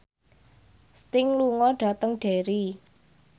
Sting lunga dhateng Derry